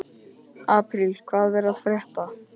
Apríl, hvað er að frétta?